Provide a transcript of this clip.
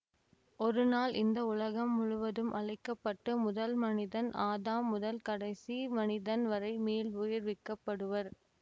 ஒருநாள் இந்த உலகம் முழுவதும் அழிக்க பட்டு முதல் மனிதன் ஆதாம் முதல் கடைசி மனிதன் வரை மீள்வுயிர்விக்கப்படுவர்